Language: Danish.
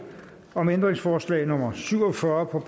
om ændringsforslag nummer syv og fyrre